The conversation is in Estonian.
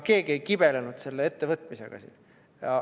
Keegi ei kibelenud selle ette võtmisega.